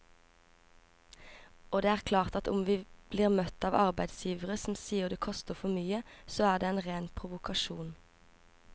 Og det er klart at om vi blir møtt av arbeidsgivere som sier det koster for mye, så er det en ren provokasjon.